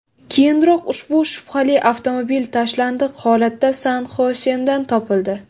Keyinroq ushbu shubhali avtomobil tashlandiq holatda San-Xosedan topildi.